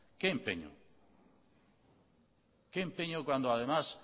qué empeño qué empeño cuando además